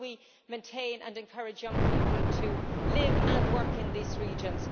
How do we maintain and encourage young people to live and work in these regions?